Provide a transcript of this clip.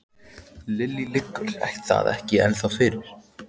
Lillý: Liggur það ekki ennþá fyrir?